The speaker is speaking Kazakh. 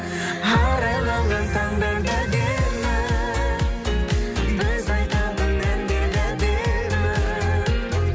арайланған таңдар да әдемі біз айтатын әндер де әдемі